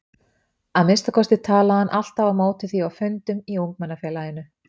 Að minnsta kosti talaði hann alltaf á móti því á fundum í ungmennafélaginu.